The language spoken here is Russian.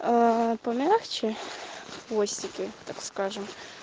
аа помягче хвостики так скажем